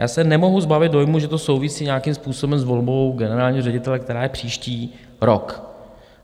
Já se nemohu zbavit dojmu, že to souvisí nějakým způsobem s volbou generálního ředitele, která je příští rok.